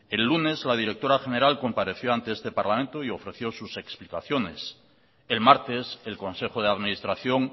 el lunes la directora general compareció ante este parlamento y ofreció sus explicaciones el martes el consejo de administración